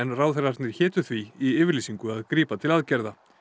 ráðherrarnir hétu því í yfirlýsingu að grípa til aðgerða